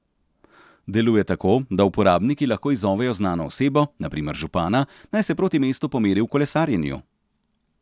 Deluje tako, da uporabniki lahko izzovejo znano osebo, na primer župana, naj se proti mestu pomeri v kolesarjenju.